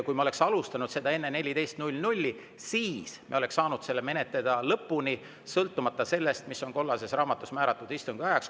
Kui me oleks alustanud seda enne kella 14, siis me oleks saanud selle menetleda lõpuni, sõltumata sellest, mis on kollases raamatus määratud istungi ajaks.